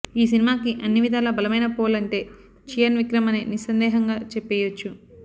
ఈ సినిమాకి అన్నివిధాలా బలమైన పోల్ అంటే చియాన్ విక్రమ్ అనే నిస్సందేహంగా చెప్పేయొచ్చు